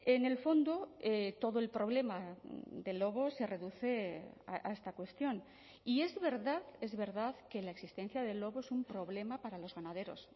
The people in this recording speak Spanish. en el fondo todo el problema del lobo se reduce a esta cuestión y es verdad es verdad que la existencia del lobo es un problema para los ganaderos